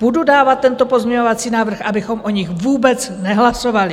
Budu dávat tento pozměňovací návrh, abychom o nich vůbec nehlasovali.